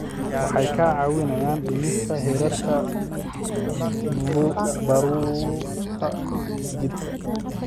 Waxay kaa caawinayaan dhimista heerarka baruurta jidhka.